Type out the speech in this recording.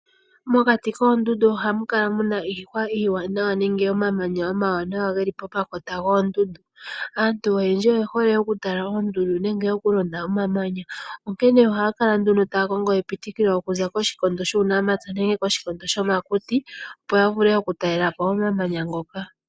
Mokati koondundu ohamu kala muna iihwa iiwanawa nenge omamanya omawanawa geli pomakota goondundu. Aantu oyendji oyehole okutala oondundu nenge okulonda omamanya, onkene ohaya kala ndundo taya kongo epitikilo okuza koshikondo shuunamapya nenge koshikondo shomakuti opo yavule okutalela po omamanya ngoka.